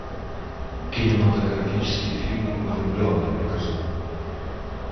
кинематографический фильм влюбленные покажи